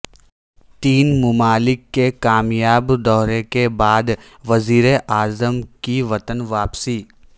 تین ممالک کے کامیاب دورہ کے بعد وزیر اعظم کی وطن واپسی